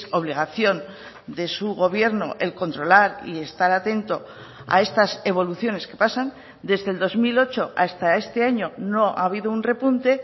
obligación de su gobierno el controlar y estar atento a estas evoluciones que pasan desde el dos mil ocho hasta este año no ha habido un repunte